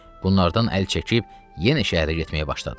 Bunlardan əl çəkib yenə şəhərə getməyə başladı.